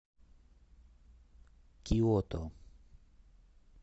киото